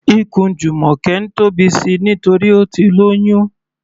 Ikùn Jumoke ń tóbi síi nítorí Ó ti lóyún.